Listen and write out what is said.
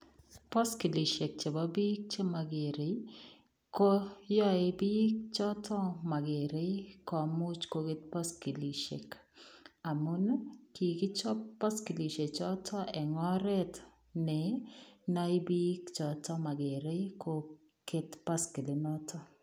Baskilisheek chebo biik chemagerei ii ko yae biik chotoon magerei komuuch koket baskilisheek amuun ii kikichaap baskilisheek chotoon en oret ne nae biik chotoon magerei ko keet baskilit notoon.